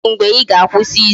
Kedu mgbe I ga-akwụsị izu ohi?